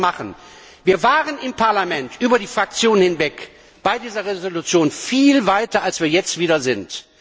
Wir können das machen, wir waren im Parlament über die Fraktionsgrenzen hinweg bei dieser Entschließung viel weiter, als wir jetzt wieder sind.